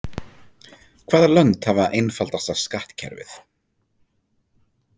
Hvaða lönd hafa einfaldasta skattkerfið?